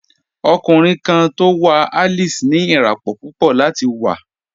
Ọ̀kùnriǹ kan tó wà Alice ní iràpọ̀ púpọ̀ láti wà.